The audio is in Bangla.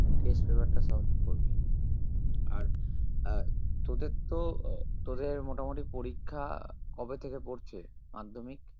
Test paper টা solve আর আহ তোদের তো আহ তোদের মোটামোটি পরীক্ষা কবে থেকে পড়ছে মাধ্যমিক?